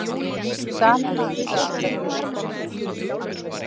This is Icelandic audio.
Sami maður við allar hliðar borðsins